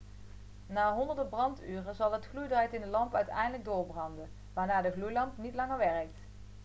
na honderden branduren zal het gloeidraad in de lamp uiteindelijk doorbranden waarna de gloeilamp niet langer werkt